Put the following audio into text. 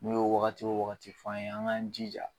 N'o ye wagati o wagati f'an ye an k'an jija.